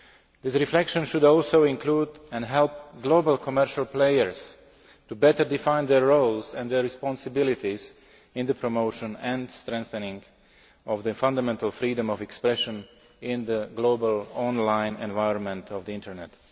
This reflection should also include and help global commercial players to better define their roles and their responsibilities in the promotion and strengthening of the fundamental freedom of expression in the global online environment of the Internet.